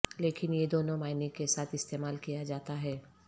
لیکن یہ دونوں معنی کے ساتھ استعمال کیا جاتا ہے